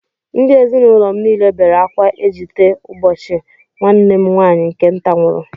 Ndị ezinụlọ m niile bere akwa ejite ejite ụbọchị nwanne m nwaanyị nke nta nwụrụ